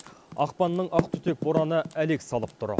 ақпанның ақ түтек бораны әлек салып тұр